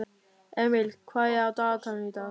Emil, hvað er á dagatalinu í dag?